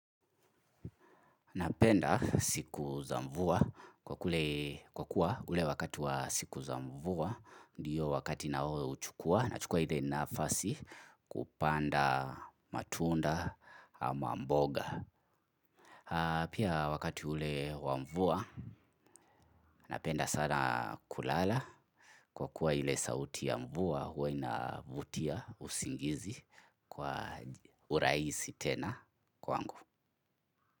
Napenda siku zamvua kwa kuwa ule wakati wa siku zamvua ndiyo wakati nao uchukua na chukua hile nafasi kupanda matunda ama mboga. Pia wakati ule wamvua napenda sana kulala. Kwa kuwa hile sauti ya mvua huwa inavutia usingizi kwa uraisi tena kwangu.